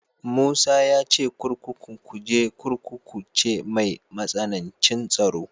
Musa ya ce kurkukun Kuje Kurkuku ce mai matsanancin tsaro.